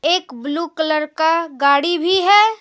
एक blue colour का गाड़ी भी है।